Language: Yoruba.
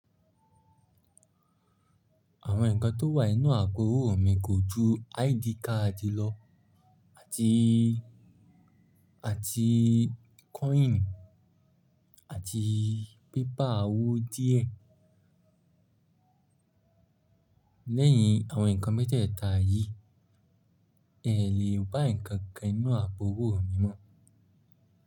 Àwọn nǹkan tó wà nínú àpò owó mi kò ju ID card lọ àti--àti coin àti paper owó díẹ̀. Lẹ́yìn àwọn nǹkan mẹ́tẹ̀ẹ̀ta yìí, è lé bá nǹkan kan nínú àpò owó mi mọ́.